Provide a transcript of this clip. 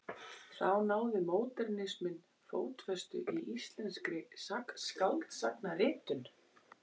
Þá náði módernisminn fótfestu í íslenskri skáldsagnaritun.